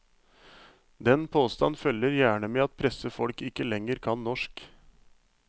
Den påstand følger gjerne med at pressefolk ikke lenger kan norsk.